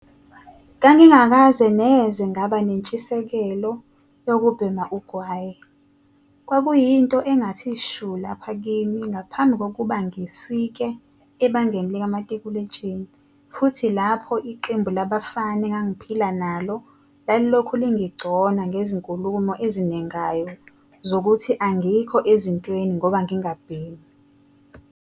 "Ngangingakaze neze ngaba nentshisekelo yokubhema ugwayi - wawuyinto engathi shu lapha kimi ngaphambi kokuba ngifike ebangeni likamatikuletsheni futhi lapho iqembu labafana engangiphila nalo lalilokhu lingigcona ngezinkulumo ezinengayo zokuthi angikho ezintweni ngoba ngingabhemi."